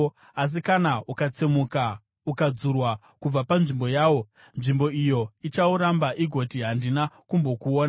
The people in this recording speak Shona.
Asi kana ukatsemuka ukadzurwa kubva panzvimbo yawo, nzvimbo iyo ichauramba igoti, ‘Handina kumbokuona.’